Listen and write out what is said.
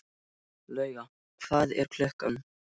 Lauga, hvað er klukkan?